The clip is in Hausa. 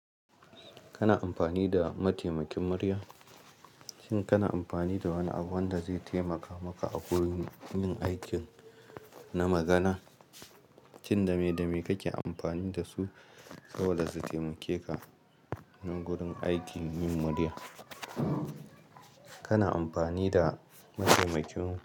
Kana amfani da mataimakin murya? Shin kana amfani da wani abu wanda zai taimaka maka a gurin yin aiki na magana? Shin dame dame kake amfani dasu saboda su taimake ka a gurin aikin yin murya? Kana amfani da mataimakin.